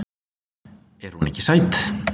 Er hún ekki sæt.